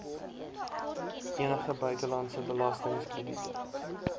enige buitelandse belastingkrediete